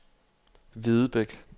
Hvidebæk